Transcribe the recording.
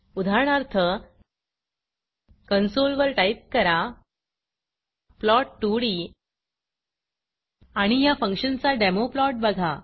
उदाहरणार्थ कन्सोलवर टाईप करा प्लॉट 2डी आणि ह्या फंक्शनचा डेमो plotप्लॉट बघा